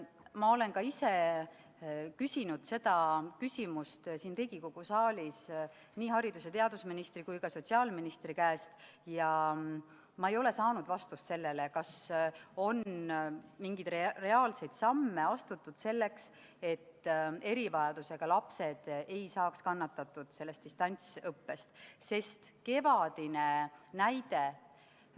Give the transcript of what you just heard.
Ma olen ka ise küsinud seda siin Riigikogu saalis nii haridus- ja teadusministri kui ka sotsiaalministri käest, aga ma ei ole saanud vastust sellele, kas on mingeid reaalseid samme astutud selleks, et erivajadusega lapsed distantsõppe tõttu ei kannataks.